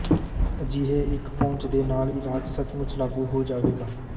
ਅਜਿਹੇ ਇੱਕ ਪਹੁੰਚ ਦੇ ਨਾਲ ਇਲਾਜ ਸੱਚਮੁੱਚ ਲਾਗੂ ਹੋ ਜਾਵੇਗਾ